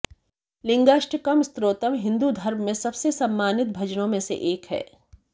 लिंगाष्टकम स्तोत्रम हिंदू धर्म में सबसे सम्मानित भजनों में से एक है